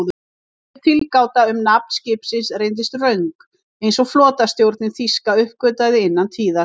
Þessi tilgáta um nafn skipsins reyndist röng, eins og flotastjórnin þýska uppgötvaði innan tíðar.